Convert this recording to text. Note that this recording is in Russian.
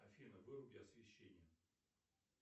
афина выруби освещение